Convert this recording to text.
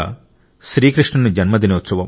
శ్రీకృష్ణుని జన్మదినోత్సవం